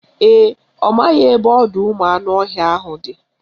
Ee, ọ maghị ebe ọdọụmụanụọhịa ahụ dị